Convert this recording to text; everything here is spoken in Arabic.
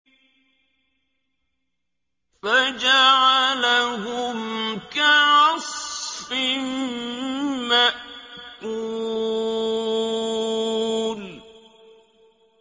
فَجَعَلَهُمْ كَعَصْفٍ مَّأْكُولٍ